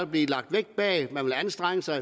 blive lagt vægt bag at man vil anstrenge sig